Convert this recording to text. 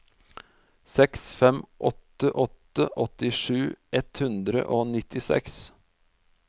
seks fem åtte åtte åttisju ett hundre og nittiseks